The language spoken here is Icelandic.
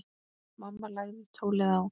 Mamma lagði tólið á.